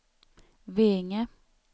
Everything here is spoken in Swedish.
Veinge